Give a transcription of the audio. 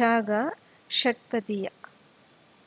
ಜಾಗಾ ಷಟ್ಪದಿಯ